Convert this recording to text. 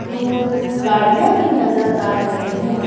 दूर गाड़ियाँ भी नजर आ रही हैं।